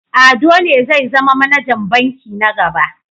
Ado ne zai zama manajan banki na gaba.